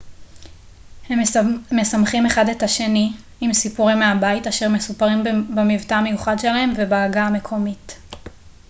הם משמחים אחד את השני עם סיפורים מהבית אשר מסופרים במבטא המיוחד שלהם ובעגה המקומית